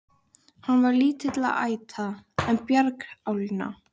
Hann var lítilla ætta, en bjargálna.